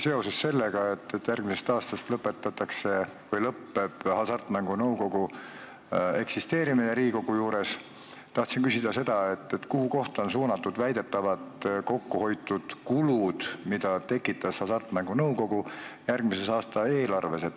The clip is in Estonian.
Seoses sellega, et järgmisest aastast lõpeb Hasartmängumaksu Nõukogu eksisteerimine Riigikogu juures, tahan küsida seda: kuhu kohta on suunatud väidetavalt kokku hoitud raha, mis seni eelarvest Hasartmängumaksu Nõukogule läks?